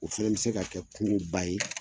O fana bɛ se ka kɛ kuuru ba ye.